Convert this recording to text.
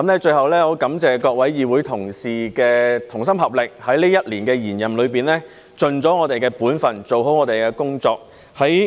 最後，我感謝各位議會同事的同心合力，在這一年的延任中，盡了我們本分，做好我們的工作。